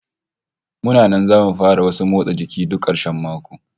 Muna nan zamu fara wasan motsa jiki duk karshen mako